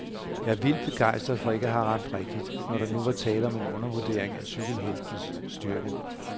Jeg er vildt begejstret for ikke at have ramt rigtigt, når der nu var tale om en undervurdering af cykelheltens styrke.